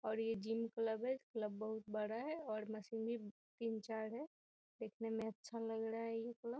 और ये gym club है क्लब बहुत बड़ा है और मशीनें तीन-चार हैं दिखने में अच्छा लग रहा है ये क्लब ।